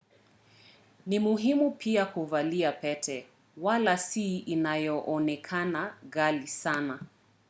ni muhimu pia kuvalia pete wala si inayoonekana ghali sana